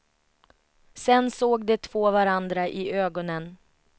Sen såg de två varandra i ögonen.